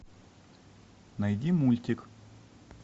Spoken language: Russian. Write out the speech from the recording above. найди мультик